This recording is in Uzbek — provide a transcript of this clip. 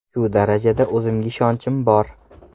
Shu darajada o‘zimga ishonchim bor.